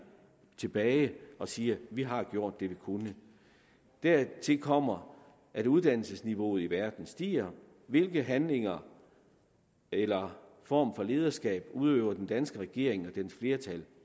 tilbage og siger vi har gjort det vi kunne dertil kommer at uddannelsesniveauet i verden stiger hvilke handlinger eller former for lederskab udøver den danske regering og dens flertal